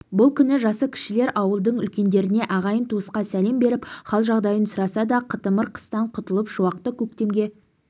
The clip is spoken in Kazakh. бұл күні жасы кішілер ауылдың үлкендеріне ағайын-туысқа сәлем беріп хал-жағдайын сұрасады қытымыр қыстан құтылып шуақты көктемге